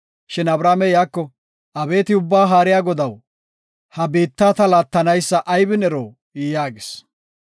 Shin Abramey iyako, “Abeeti Ubba Haariya Godaw ha biitta ta laatanaysa aybin ero?” yaagis.